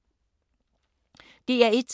DR1